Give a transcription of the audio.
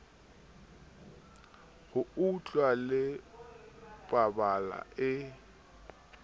ho utlwana le pabala e